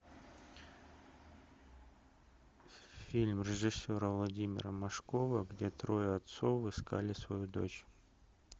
фильм режиссера владимира машкова где трое отцов искали свою дочь